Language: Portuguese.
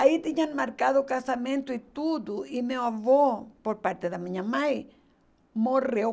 Aí tinham marcado o casamento e tudo, e meu avô, por parte da minha mãe, morreu.